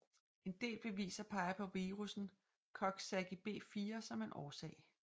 En del bevis peger på virussen Coxsackie B4 som en årsag